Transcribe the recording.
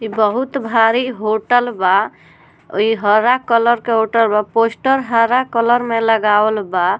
इ बहुत बड़ी होटल बा | इ हरा कलर के होटल बा | पोस्टर हरा कलर में लगावल बा |